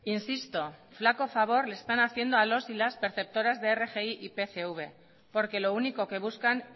insisto flaco favor le están haciendo a los y las perceptoras de rgi y pcv porque lo único que buscan